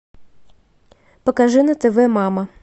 покажи на тв мама